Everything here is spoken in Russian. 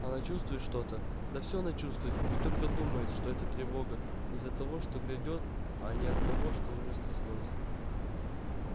она чувствует что-то да все она чувствует пусть только думает что эта тревога из-за того что грядёт а не от того что уже стряслось